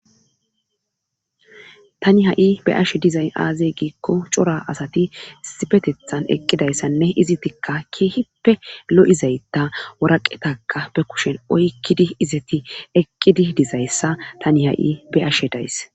Tani ha'i be ashe dizay aazey giikko cora asati sipetethan eqqidayssanne izi tikka kiehippe lo'izayta waraqetaka be kushen oykkidi izeti eqqidi dizayssa tani ha'i be ashe days